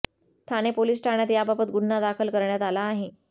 Thane police ठाण्यात याबाबत गुन्हा दाखल करण्यात आला आहे